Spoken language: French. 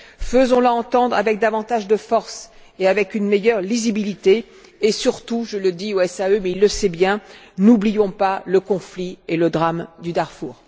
Faisons la entendre avec davantage de force et avec une meilleure lisibilité et, surtout je le dis au SEAE, mais il le sait bien n'oublions pas le conflit et le drame du Darfour.